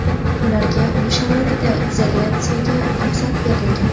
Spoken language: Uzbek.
Ularga uy sharoitida izolyatsiyaga ruxsat berilgan.